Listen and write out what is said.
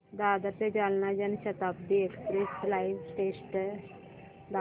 दादर ते Jalna Janshatabdi express live status दाखव